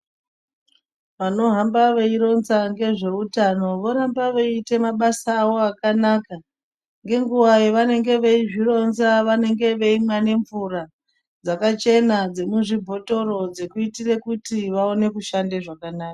Vanotamba veironza ngezveutano ,voramba veiite mabasa avo akanaka. Ngenguva yevanenge veizvironza, vanenge vaeimwa nemvura, dzakachena, dzemuzvibhothoro, dzekuitire kuti vaone kushande zvakanaka.